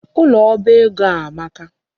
Ụlọ oba ego a amaka.